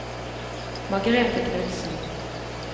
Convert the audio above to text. Margrete Knudsen